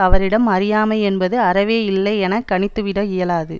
அவரிடம் அறியாமை என்பது அறவே இல்லை என கணித்துவிட இயலாது